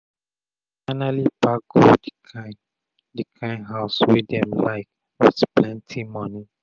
them finally pack go the kind the kind house wey dem likewith plenty money.